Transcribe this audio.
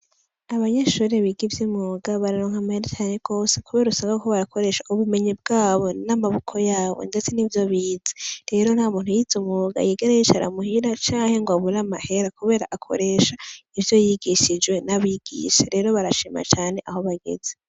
Abanyeshuri biga ivy'imyuga bararonka amahera cane gose kuber 'usanga bariko barakoresha ubumenyi bwabo ,n'amaboko yabo ,ndetse nivyo bize, rero nta muntu yiz 'umwuga yigera yicara muhira canke rw'abure amahera, kubera akoresha ivyo yigishijwe n'abigisha, rero barashima cane aho bageze.